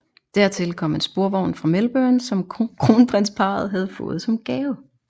Dertil kom en sporvogn fra Melbourne som kronprinsparret havde fået som gave